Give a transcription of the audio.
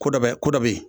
Ko dɔ bɛ ko dɔ bɛ yen